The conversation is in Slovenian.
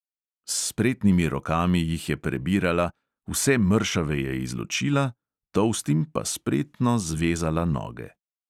S spretnimi rokami jih je prebirala, vse mršave je izločila, tolstim pa spretno zvezala noge.